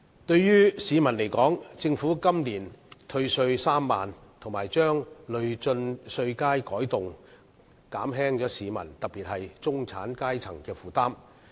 對於市民而言，政府今年退稅3萬元，以及把累進稅階改動，這些措施均可減輕市民，特別是中產階層的負擔。